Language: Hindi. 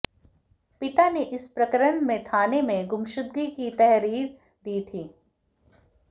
पिता ने इस प्रकरण में थाने में गुमशुदगी की तहरीर दी थी